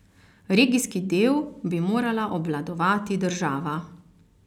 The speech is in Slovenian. Regijski del bi morala obvladovati država.